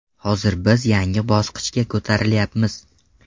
Hozir biz yangi bosqichga ko‘tarilyapmiz.